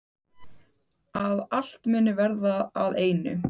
Að allt muni verða að einu.